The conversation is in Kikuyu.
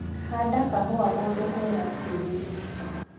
Handa kahũa kũndũ kwĩna kĩruru.